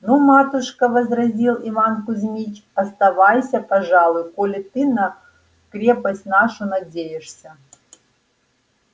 ну матушка возразил иван кузьмич оставайся пожалуй коли ты на крепость нашу надеешься